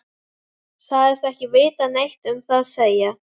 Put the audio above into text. Sagðist ekki vilja neitt um það segja.